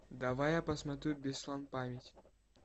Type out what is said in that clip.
давай я посмотрю беслан память